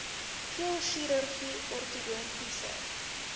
keel chirurgie ortodontiese